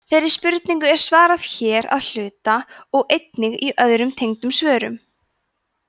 þeirri spurningu er svarað hér að hluta og einnig í öðrum tengdum svörum